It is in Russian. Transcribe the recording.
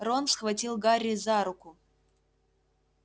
рон схватил гарри за руку